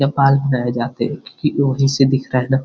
यां बाल बनाये जाते हैं क्युकी वो वही से दिखरा है न।